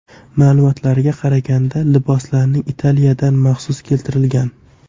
Ma’lumotlarga qaraganda, liboslar Italiyadan maxsus keltirilgan.